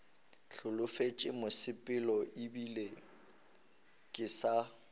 holofetše mosepelo ebile ke sa